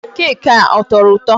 Keeki a, ọ tọrọ ụtọ?